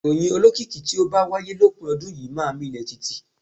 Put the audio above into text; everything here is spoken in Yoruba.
Ìròyìn olókìkí tí ó bá wáyé lópin ọdún yìí máa milẹ̀ tìtì.